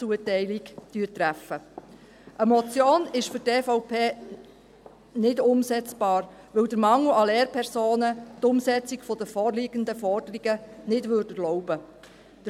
Eine Motion ist für die EVP nicht umsetzbar, weil der Mangel an Lehrpersonen die Umsetzung der vorliegenden Forderungen nicht erlauben würde.